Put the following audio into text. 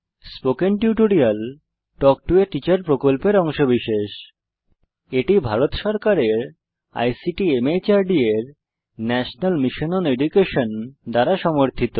spoken tutorial talk to a teacher প্রকল্পের অংশবিশেষ এটি ভারত সরকারের আইসিটি মাহর্দ এর ন্যাশনাল মিশন ওন এডুকেশন দ্বারা সমর্থিত